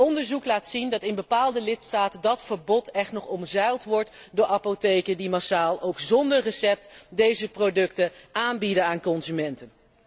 Onderzoek laat zien dat dat verbod in bepaalde lidstaten echt nog omzeild wordt door apotheken die massaal, ook zonder recept, deze producten aanbieden aan consumenten.